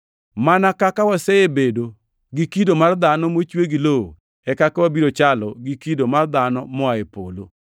Mana kaka wasebedo gi kido mar dhano mochwe gi lowo, e kaka wabiro chalo gi kido mar dhano moa e polo.